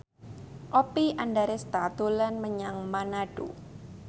Oppie Andaresta dolan menyang Manado